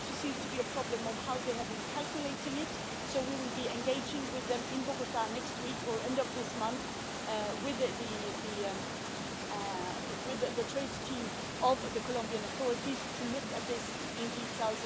There also seems to be a problem of how they had been calculating it so we will be engaging with them in Bogota next week or at end of this month, with the trade team of the Colombian authorities to look at this in detail.